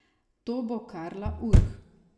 To bo Karla Urh.